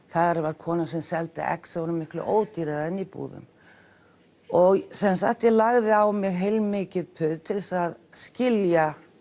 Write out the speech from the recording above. þar var kona sem seldi egg sem voru miklu ódýrari en í búðum ég sem sagt lagði á mig heilmikið puð til þess að skilja